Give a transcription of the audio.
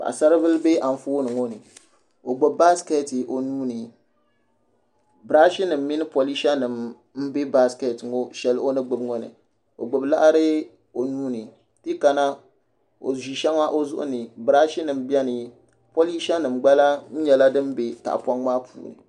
Paɣasaribili n bɛ Anfooni ŋo ni o gbubi baskɛt o nuuni birash nim mini polish nim n bɛ baskɛt ŋo ni o gbubi laɣari o nuuni ti yi kana o ʒi shɛŋa o zuɣu ni birash nim biɛni polisha nim gba lahi nyɛla din bɛ tahapoŋ maa puuni